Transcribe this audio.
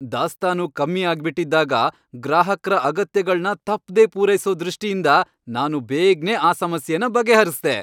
ದಾಸ್ತಾನು ಕಮ್ಮಿ ಆಗ್ಬಿಟಿದ್ದಾಗ ಗ್ರಾಹಕ್ರ ಅಗತ್ಯಗಳ್ನ ತಪ್ದೇ ಪೂರೈಸೋ ದೃಷ್ಟಿಯಿಂದ ನಾನು ಬೇಗ್ನೆ ಆ ಸಮಸ್ಯೆನ ಬಗೆಹರ್ಸ್ದೆ.